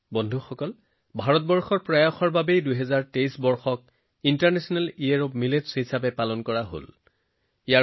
বন্ধুসকল ভাৰতৰ প্ৰচেষ্টাৰ বাবে ২০২৩ বৰ্ষটো আন্তৰ্জাতিক বাজৰাৰ বছৰ হিচাপে পালন কৰা সম্ভৱ হৈ উঠিল